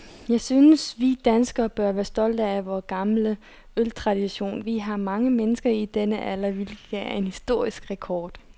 Jeg synes, vi som danskere bør være stolte af vor gamle øltradition. Vi har mange mennesker i denne alder, hvilket er en historisk rekord.